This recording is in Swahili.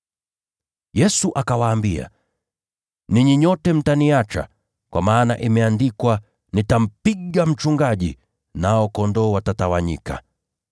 Yesu akawaambia, “Ninyi nyote mtaniacha, kwa maana imeandikwa: “ ‘Nitampiga mchungaji, nao kondoo watatawanyika.’